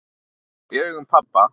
Jú, í augum pabba